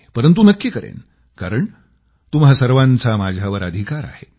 परंतु नक्की करेन कारण तुम्हा सर्वांचा माझ्यावर अधिकार आहे